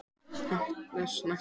Hann var ekki snertur.